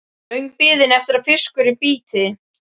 Löng biðin eftir að fiskurinn bíti.